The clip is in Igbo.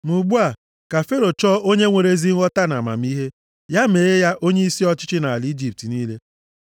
“Ma ugbu a, ka Fero chọọ onye nwere ezi nghọta na amamihe. Ya mee ya onyeisi ọchịchị nʼala Ijipt niile.